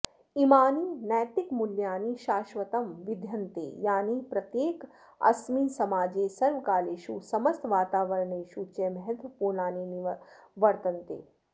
इमानि नैतिकमूल्यानि शाष्वतं विद्यन्ते यानि प्रत्येकऽस्मिन् समाजे सर्वकालेषु समस्त वातावरणेषु च महत्वपूर्णानि वर्तन्ते